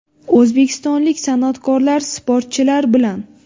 O‘zbekistonlik san’atkorlar sportchilar bilan .